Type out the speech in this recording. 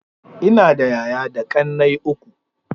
Ina da yaya da ƙannai uku.